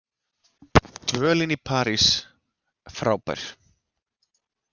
Dvölin í París frábær